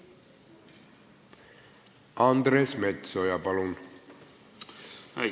Andres Metsoja, palun!